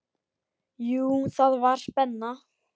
Jú, það var spenna.